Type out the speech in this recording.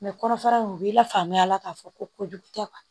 kɔnɔfara in u bɛ lafaamuya k'a fɔ ko kojugu tɛ